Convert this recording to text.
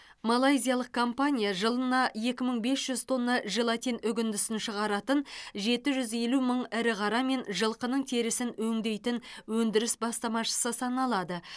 малайзиялық компания жылына екі мың бес жүз тонна желатин үгіндісін шығаратын жеті жүз елу мың ірі қара мен жылқының терісін өңдейтін өндіріс бастамашысы саналады